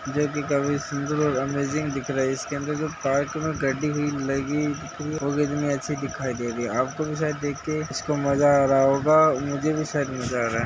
सुन्दर और अमेजिंग दिख रही है इसके अंदर जो लगी हुई है वो कितनी अच्छी दिखाई दे रही है आपको भी शायद देख के इसको मज़ा आ रहा होगा मझे भी शायद मज़ा आ रहा है।